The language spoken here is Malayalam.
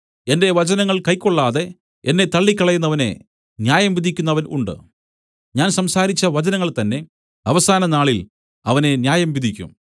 എന്റെ വചനങ്ങൾ കൈക്കൊള്ളാതെ എന്നെ തള്ളിക്കളയുന്നവനെ ന്യായം വിധിക്കുന്നവൻ ഉണ്ട് ഞാൻ സംസാരിച്ച വചനങ്ങൾ തന്നേ അവസാന നാളിൽ അവനെ ന്യായംവിധിക്കും